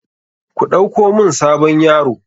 Ku ɗauko mun sabon yaro.